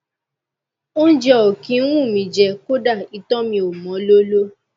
óúnjẹ ò kí ń wù mí í jẹ kódà ìtọ mi ò mọ lóló